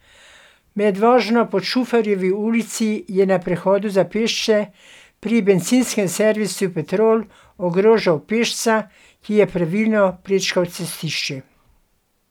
Med vožnjo po Čufarjevi ulici je na prehodu za pešce, pri bencinskem servisu Petrol, ogrožal pešca, ki je pravilno prečkal cestišče.